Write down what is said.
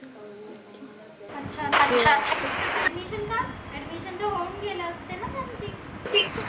अच्छा अच्छा admission admission त होऊन गेल्या असतील न त्यांची?